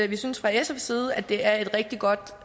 vi synes fra sfs side at det er et rigtig godt